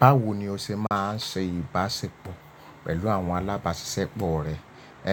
Báwo ni o ṣe máa ń ṣe ìbáṣepọ̀ pẹ̀lú àwọn alábáṣiṣẹ́pọ̀ rẹ?